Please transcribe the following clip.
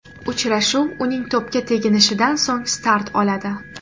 Uchrashuv uning to‘pga teginishidan so‘ng start oladi.